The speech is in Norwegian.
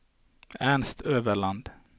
Ernst Øverland